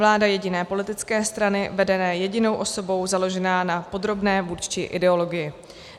Vláda jediné politické strany vedené jedinou osobou založená na podrobné vůdčí ideologii.